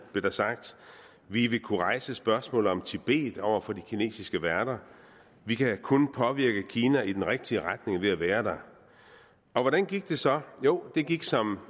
blev der sagt vi vil kunne rejse spørgsmålet om tibet over for de kinesiske værter vi kan kun påvirke kina i den rigtige retning ved at være der hvordan gik det så jo det gik som